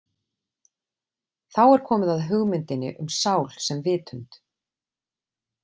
Þá er komið að hugmyndinni um sál sem vitund.